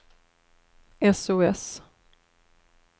sos